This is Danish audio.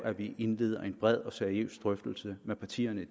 nødt til at sige